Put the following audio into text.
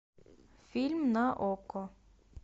фильм на окко